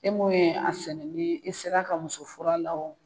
E mun ye a sɛnɛ ni i sera ka muso furu a la o.